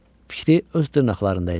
Fikri öz dırnaqlarında idi.